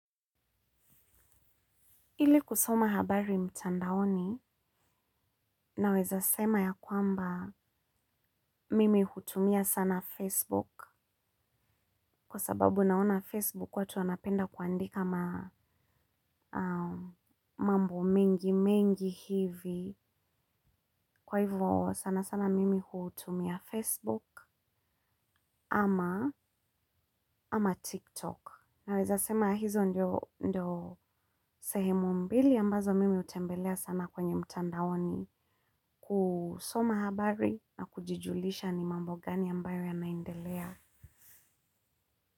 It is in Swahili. Ili kusoma habari mtandaoni naweza sema ya kwamba mimi hutumia sana Facebook. Kwa sababu naona Facebook watu wanapenda kuandika mambo mengi mengi hivi. Kwa hivyo sana sana mimi hutumia Facebook ama TikTok. Naweza sema hizo ndio sehemu mbili ambazo mimi hutembelea sana kwenye mtandaoni kusoma habari na kujijulisha ni mambo gani ambayo yanaendelea.